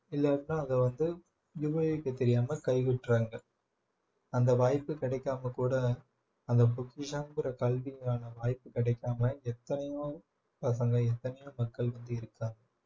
இல்லாட்டினா அதை வந்து தெரியாம கைவிட்டுறாங்க அந்த வாய்ப்பு கிடைக்காம கூட அந்த பொக்கிஷம்ங்கற கல்விக்கான வாய்ப்பு கிடைக்காம எத்தனையோ பசங்க எத்தனையோ மக்கள் வந்து இருக்காங்க